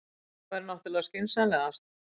Já, það væri náttúrlega skynsamlegast.